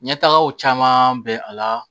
Ɲɛtagaw caman bɛ a la